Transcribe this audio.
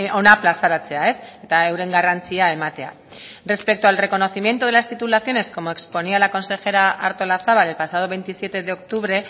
hona plazaratzea eta euren garrantzia ematea respecto al reconocimiento de las titulaciones como exponía la consejera artolazabal el pasado veintisiete de octubre